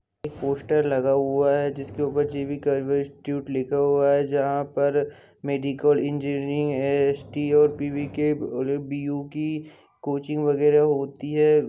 एमएक poster लगा हुआ हैंजी_बी कर्रर इंस्टूट लिखा हुआ हैंयहां पर मेडिकल इनजीनीरींग एस_एस_टी पु कि कोचिंग वागेरा होती हैं।